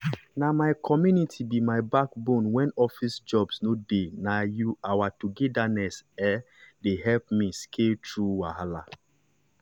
na my community be my backbone when office jobs no dey na our togetherness um dey help me scale through wahala.